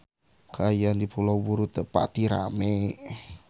Kaayaan di Pulau Buru teu pati rame